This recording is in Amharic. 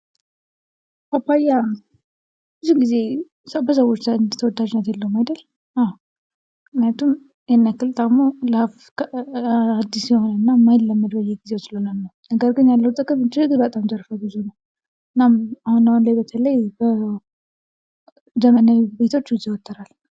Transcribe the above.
ፓፓያ ብዙ ጊዜ በሰዎች ዘንድ ተወዳጅነት የለውም አይድል? አወ ምክንያቱም ያን ያክል ጣሙ ለአፍ አድስ የሆነ እና የማይለመድ በየጊዜው ስለሆነ ነው። ነገር ግን ያለው ጥቅም እጅግ በጣም ዘርፈ ብዙ የሆነ ነው። እናም አሁን አሁን በተለይ በዘመናዊ ቤቶች ይዘወተራል።